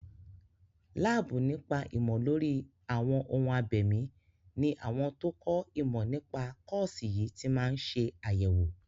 Láàbù nípa ìmọ̀ lórí àwọn ohun abẹ̀mí ní àwọn tó kọ́ ìmọ̀ nípa kọ́ọ̀sì yìí ti máa ń ṣe àyẹ̀wò.